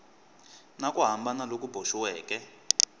na ku hambana loku boxiweke